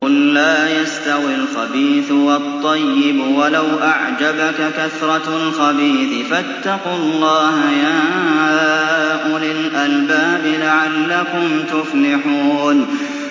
قُل لَّا يَسْتَوِي الْخَبِيثُ وَالطَّيِّبُ وَلَوْ أَعْجَبَكَ كَثْرَةُ الْخَبِيثِ ۚ فَاتَّقُوا اللَّهَ يَا أُولِي الْأَلْبَابِ لَعَلَّكُمْ تُفْلِحُونَ